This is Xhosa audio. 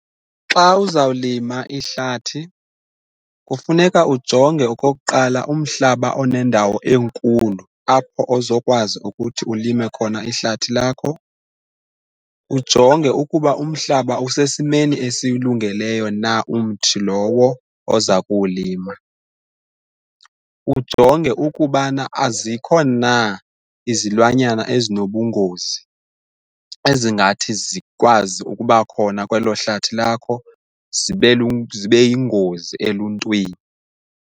Xa uzawulima ihlathi kufuneka ujonge okokuqala umhlaba onendawo enkulu apho ozokwazi ukuthi ulime khona ihlathi lakho, ujonge ukuba umhlaba usesimeni esiwulungeleyo na umthi lowo oza kuwulima, ujonge ukubana azikho na izilwanyana ezinobungozi ezingathi zikwazi ukuba khona kwelo hlathi lakho zibe yingozi eluntwini.